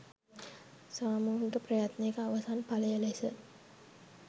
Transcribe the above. සාමූහික ප්‍රයත්නයක අවසන් ඵලය ලෙස